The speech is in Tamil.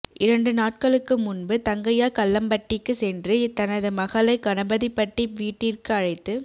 இரண்டு நாட்களுக்கு முன்பு தங்கையா கல்லம்பட்டிக்கு சென்று தனது மகளை கணபதிபட்டி வீட்டிற்கு அழைத்து